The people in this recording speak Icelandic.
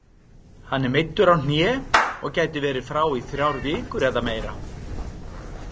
Hann er meiddur á hné og gæti verið frá í þrjár vikur eða meira.